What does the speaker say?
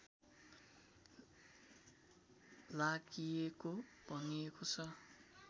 लागिएको भनिएको छ